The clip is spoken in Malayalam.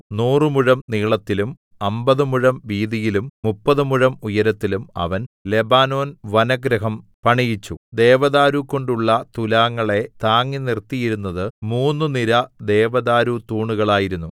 നൂറുമുഴം നീളത്തിലും അമ്പത് മുഴം വീതിയിലും മുപ്പത് മുഴം ഉയരത്തിലും അവൻ ലെബാനോൻ വനഗൃഹം പണിയിച്ചു ദേവദാരുകൊണ്ടുള്ള തുലാങ്ങളെ താങ്ങി നിർത്തിയിരുന്നത് മൂന്നു നിര ദേവദാരു തൂണുകളായിരുന്നു